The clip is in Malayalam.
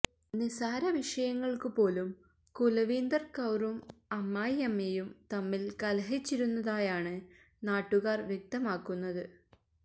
നിസാര വിഷയങ്ങള്ക്ക് പോലും കുല്വീന്ദര് കൌറും അമ്മായിയമ്മയും തമ്മില് കലഹിച്ചിരുന്നതായാണ് നാട്ടുകാര് വ്യക്തമാക്കുന്നത്